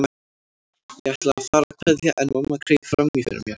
Ég ætlaði að fara að kveðja en mamma greip fram í fyrir mér.